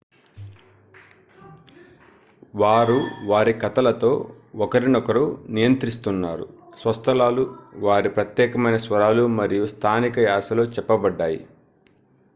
వారు వారి కథలతో ఒకరినొకరు నియంత్రిస్తున్నారు స్వస్థలాలు వారి ప్రత్యేకమైన స్వరాలు మరియు స్థానిక యాస లో చెప్పబడ్డాయి